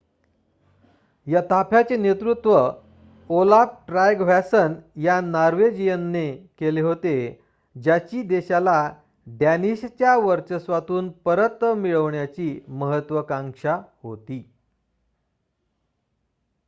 या ताफ्याचे नेतृत्व ओलाफ ट्रायगव्हॅसन या नॉर्वेजियनने केले होते ज्याची देशाला डॅनिशच्या वर्चस्वातून परत मिळवण्याची महत्वाकांक्षा होती